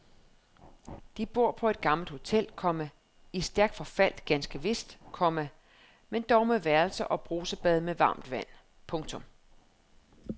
De bor på et gammelt hotel, komma i stærkt forfald ganske vist, komma men dog med værelser og brusebad med varmt vand. punktum